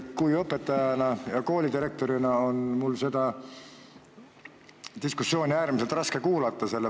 Endise õpetajana ja koolidirektorina on mul seda diskussiooni äärmiselt raske kuulata.